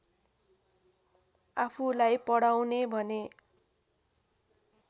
आफूलाई पढाउने भने